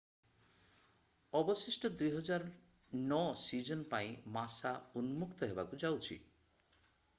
ଅବଶିଷ୍ଟ 2009 ସିଜିନ୍ ପାଇଁ ମାସା ଉନ୍ମୁକ୍ତ ହେବାକୁ ଯାଉଛି